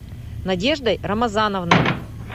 надеждой рамазановной